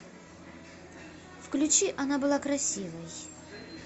включи она была красивой